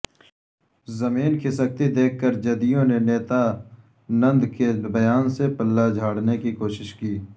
زمین کھسکتی دیکھ کرجدیونے نتیانندکے بیان سے پلہ جھاڑنے کی کوشش کی